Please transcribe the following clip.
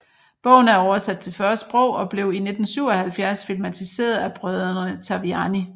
Bogen er oversat til 40 sprog og blev i 1977 filmatiseret af brødrene Taviani